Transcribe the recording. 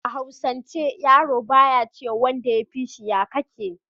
a hausance yaro ba ya ce ma wanda ya fishi "ya kake"